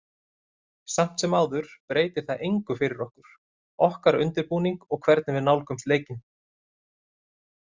Samt sem áður breytir það engu fyrir okkur, okkar undirbúning og hvernig við nálgumst leikinn.